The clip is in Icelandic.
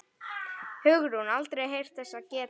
Hugrún: Aldrei heyrt þess getið?